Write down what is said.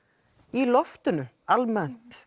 í loftinu almennt